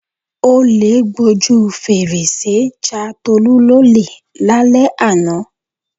Olè gbojú fèrèsé ja Tolú lólè lálẹ́ àná.